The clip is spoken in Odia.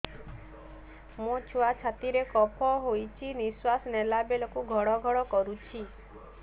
ମୋ ଛୁଆ ଛାତି ରେ କଫ ହୋଇଛି ନିଶ୍ୱାସ ନେଲା ବେଳେ ଘଡ ଘଡ କରୁଛି